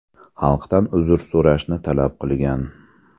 Xalqdan uzr so‘rashni talab qilgan.